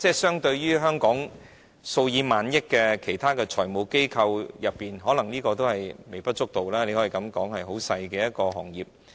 相對於香港生意額數以萬億元計的其他財務機構，這可能微不足道，你可以說它是一個很細的行業。